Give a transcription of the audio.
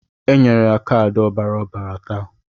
E nyere ya kaadị ọbara ọbara taa.